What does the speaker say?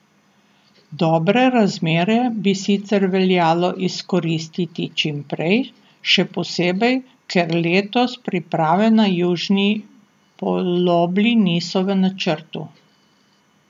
Dobre razmere bi sicer veljalo izkoristiti čim prej, še posebej, ker letos priprave na južni polobli niso v načrtu.